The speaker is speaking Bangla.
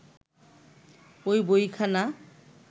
ঐ বইখানা